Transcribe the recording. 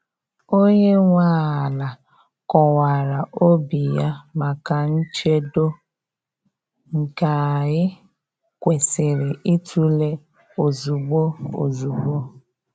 Onye nwe ala kọwara obi ya maka nchedo, nke anyị kwesịrị ịtụle ozugbo ozugbo.